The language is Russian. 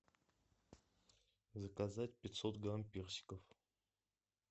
заказать пятьсот грамм персиков